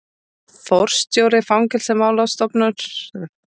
Forstjóri fangelsismálastofnunar, forstöðumenn fangelsa og fangaverðir.